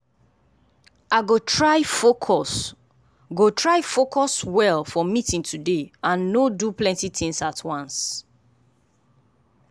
i go try focus go try focus well for meeting today and no do plenty things at once.